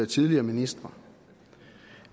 tidligere ministre